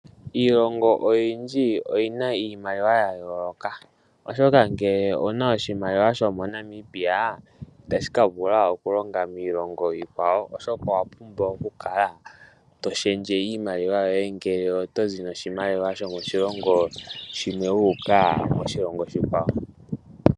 Iilongo oyindji oyi na iimaliwa ya yooloka, oshoka ngele owu na oshimaliwa shomoNamibia itashi ka vula oku ka longa miilongo iikwawo. Owa pumbwa okukala to shendje iimaliwa yoye ngele oto zi noshimaliwa moshilongo shilwe wu uka koshilongo oshikwawo.